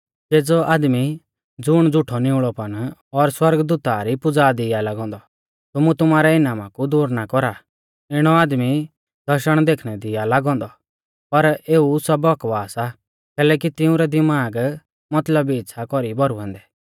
केज़ौ आदमी ज़ुण झ़ुठौ निउल़ौपन और सौरगदूता री पुज़ा दी आ लागौ औन्दौ तुमु तुमारै इनामा कु दूर ना कौरा इणौ आदमी दर्शण देखणै दी आ लागौ औन्दौ पर एऊ सब बकवास आ कैलैकि तिउंरै दिमाग मतलबी इच़्छ़ा कौरी भौरुऐ औन्दै